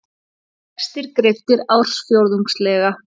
Vextir greiddir ársfjórðungslega